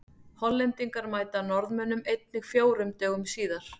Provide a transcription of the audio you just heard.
Hollendingar mæta Norðmönnum einnig fjórum dögum síðar.